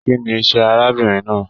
Kínní iṣẹ arábìnrin náà?